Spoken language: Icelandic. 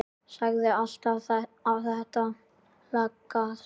Sagðir alltaf þetta lagast.